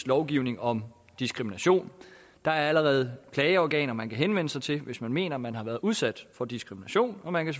lovgivning om diskrimination der er allerede klageorganer man kan henvende sig til hvis man mener at man har været udsat for diskrimination og man kan